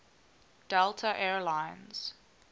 delta air lines